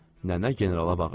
Nənə generala bağırdı.